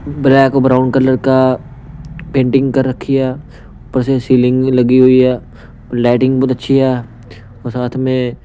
Black brown colour का painting कर रखी है ऊपर से सीलिंग लगी हुई है लाइटिंग बहुत अच्छी है और साथ में।